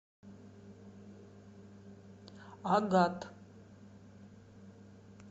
агат